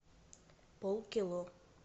полкило